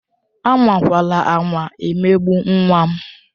Anwakwala anwa emegbu nwa m!